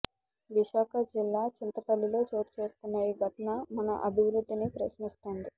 విశాఖ జిల్లా చింతపల్లిలో చోటుచేసుకున్న ఈ ఘటన మన అభివృద్ధిని ప్రశ్నిస్తోంది